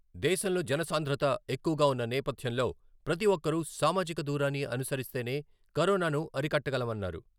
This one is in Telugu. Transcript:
దేశంలో జనసాంధ్రత ఎక్కువుగా ఉన్న నేపథ్యంలో ప్రతి ఒక్కరూ సామాజిక దూరాన్ని అనుసరిస్తేనే కరోనాను అరికట్టగలమన్నారు.